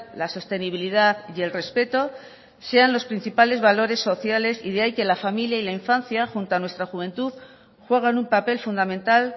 la sostenibilidad y el respeto sean los principales valores sociales y de ahí que la familia y la infancia junto a nuestra juventud juegan un papel fundamental